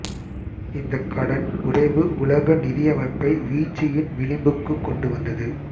இந்தக் கடன் உறைவு உலக நிதியமைப்பை வீழ்ச்சியின் விளிம்புக்குக் கொண்டு வந்தது